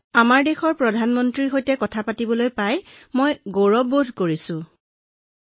আমাৰ দেশ প্ৰধানমন্ত্ৰীৰ সৈতে কথা পাতিবলৈ পাই মই গৌৰৱ আৰু সন্মানিত অনুভৱ কৰিছো মহোদয়